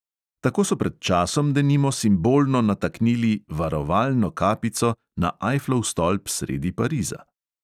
Tako so pred časom, denimo, simbolno nataknili "varovalno kapico" na ajflov stolp sredi pariza.